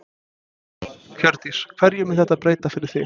Hjördís: Hverju mun þetta breyta fyrir þig?